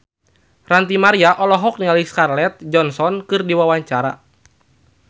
Ranty Maria olohok ningali Scarlett Johansson keur diwawancara